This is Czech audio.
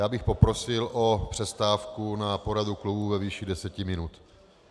Já bych poprosil o přestávku na poradu klubu ve výši deset minut.